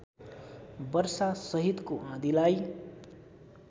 वर्षासहितको आँधीलाई